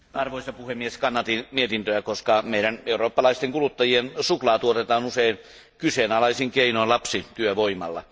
Arvoisa puhemies, kannatin mietintöä, koska meidän eurooppalaisten kuluttajien suklaa tuotetaan usein kyseenalaisin keinoin lapsityövoimalla.